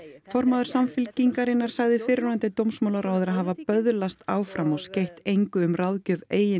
formaður Samfylkingarinnar sagði fyrrverandi dómsmálaráðherra hafa böðlast áfram og skeytt engu um ráðgjöf eigin